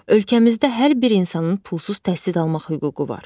Ölkəmizdə hər bir insanın pulsuz təhsil almaq hüququ var.